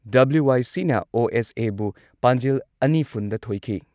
ꯗꯕ꯭ꯂ꯭ꯌꯨ.ꯋꯥꯏ.ꯁꯤꯅ ꯑꯣ.ꯑꯦꯁ.ꯑꯦꯕꯨ ꯄꯥꯟꯖꯤꯜ ꯑꯅꯤ ꯐꯨꯟꯗ ꯊꯣꯏꯈꯤ ꯫